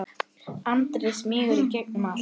Andri: Smýgur í gegnum allt?